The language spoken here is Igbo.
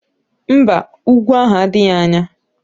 Mba, úgwú ahụ adịghị anya